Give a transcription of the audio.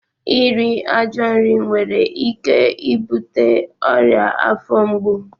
Iri ajọ nri nwere ike ibute ọrịa afọ mgbu